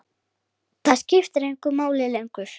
Það skiptir engu máli lengur.